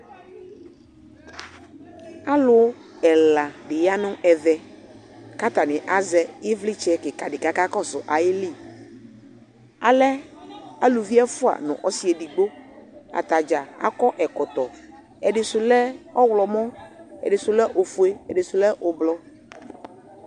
Alʋ ɛla di ya nʋ ɛvɛ kʋ atani azɛ ivlitsɛ kika di kʋ akakɔsʋ ayili Alɛ alʋvi ɛfua nʋ ɔsi edigbo Atadza akɔ ɛkɔtɔ Ɛdisʋ lɛ ɔwlɔmɔ, ɛdisʋ lɛ ofue, ɛdisʋ lɛ ʋblʋɔ